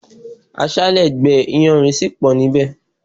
Aṣále gbé iyanrìn sì pọ nibẹ